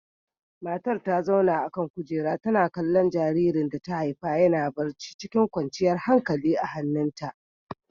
Matar ta zauna a kan kujera, tana kallon jaririn da ta haifa yana barci cikin kwanciyar hankalia a hannunta.